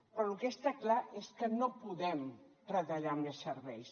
però el que està clar és que no podem retallar més serveis